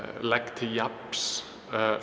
legg til jafns